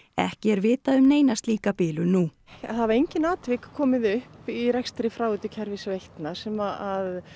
ekki er vitað um neina slíka bilun nú það hafa engin atvik komið upp í rekstri fráveitukerfi veitna sem